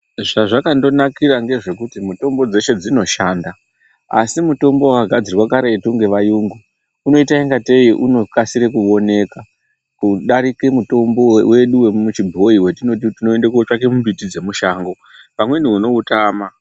Zvazvakandonakira ngezvekuti mutombo dzeshe dzinoshanda asi mutombo wakagadzirwa karetu ngevayungu unoita ingatei unokasire kuoneka kudarike mutombo wedu wemichibhoyi wetinoti tinoende kundotsvaga mumbiti dzemushango pamweni unoutama.